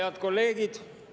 Head kolleegid!